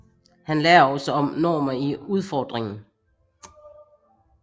Han lærer også om Gnomer i udfordringen